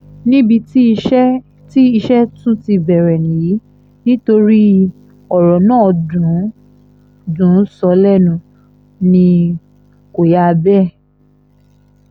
níbi tí iṣẹ́ tí iṣẹ́ tún ti bẹ̀rẹ̀ nìyí nítorí ọ̀rọ̀ náà dùn í sọ lẹ́nu ni kò yà bẹ́ẹ̀